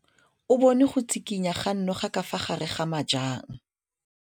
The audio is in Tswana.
O bone go tshikinya ga noga ka fa gare ga majang.